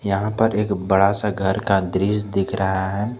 यहां पर एक बड़ा सा घर का दृश्य दिख रहा है।